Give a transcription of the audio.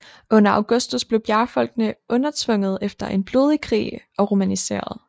Under Augustus blev bjergfolkene undertvunget efter en blodig krig og romaniseret